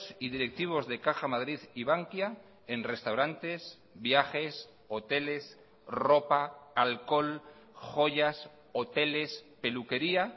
y directivos de caja madrid y bankia en restaurantes viajes hoteles ropa alcohol joyas hoteles peluquería